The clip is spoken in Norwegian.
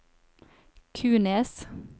Kunes